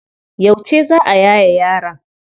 Yauce za a yaye yaron?